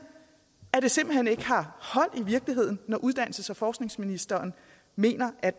at det simpelt hen ikke har hold i virkeligheden når uddannelses og forskningsministeren mener at